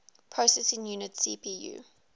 processing unit cpu